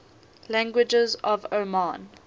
languages of oman